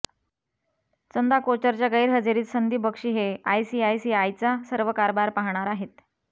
चंदा कोचरच्या गैरहजेरीत संदीप बक्षी हे आयसीआयसीआयचा सर्व कारभार पाहणार आहेत